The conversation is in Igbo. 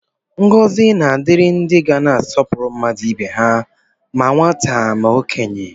Ngọzi na-adịrị ndị ga-asọpụrụ mmadụ ibe ha, ma nwata ma okenye